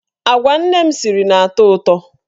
Agwa nne m siri na-atọ ụtọ.